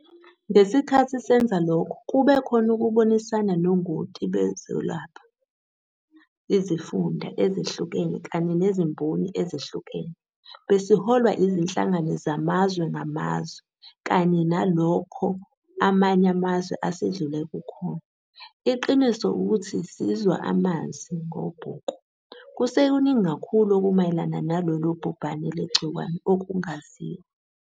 Ngesikhathi senza lokho kube khona ukubonisana nongoti bezokwelapha, izifunda ezehlukene kanye nezimboni ezehlukene. Besiholwa izinhlangano zamazwe ngamazwe kanye nalokho amanye amazwe asedlule kukhona. Iqiniso ukuthi sizwa amanzi ngobhoko. Kusekuningi kakhulu okumayelana nalolu bhubhane lwegciwane okungaziwa.